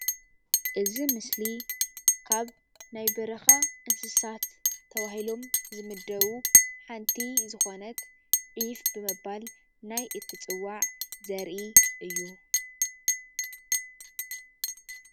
እዚ ምስሊ ካብ ናይ በረካ እናስሳት ተባሂሎም ዝምደቡ ሓንቲ ዝኮነት ዒፍ ብምባል ናይ እትፀዋዕ ዘርኢ እዩ፡፡